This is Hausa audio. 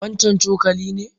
Wannan cokali ne?